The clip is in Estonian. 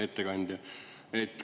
Ettekandja!